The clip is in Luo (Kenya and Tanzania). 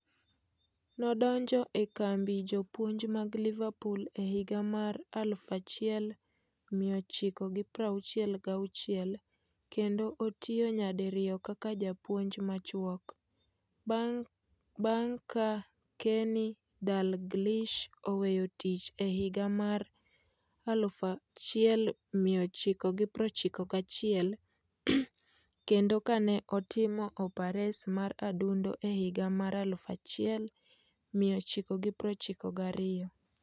Nodonjo e kambi jopuonj mag Liverpool e higa mar 1966 kendo otiyo nyadi riyo kaka japuonj machuok - bang' ka Kenny Dalglish oweyo tich e higa mar 1991 kendo kane otimo opares mar adundo e higa mar 1992.